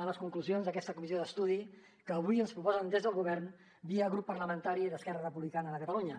a les conclusions d’aquesta comissió d’estudi que avui ens proposen des del govern via grup parlamentari d’esquerra republicana de catalunya